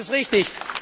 Das ist richtig.